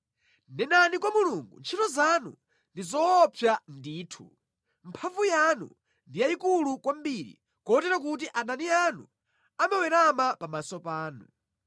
Nenani kwa Mulungu, “Ntchito zanu ndi zoopsa ndithu! Mphamvu yanu ndi yayikulu kwambiri kotero kuti adani anu amawerama pamaso panu.